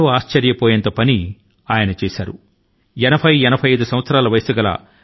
కామెగౌడ తన పశువుల ను మేత కోసం తీసుకుపోతారు